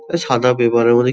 এই সাদা পেপার গুলি --